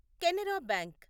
Canara bank